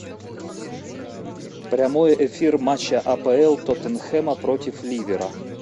прямой эфир матча апл тоттенхэма против ливера